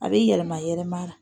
A bɛ yɛlɛma yɛlɛmayɛlɛma.